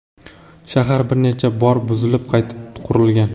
Shahar bir necha bor buzilib qayta qurilgan.